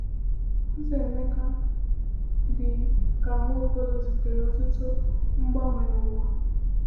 Ọzọ Emeka, dị ka Nwaokolo, zutere ọtụtụ mgbanwe n’ụwa.